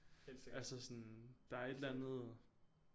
Altså sådan der er et eller andet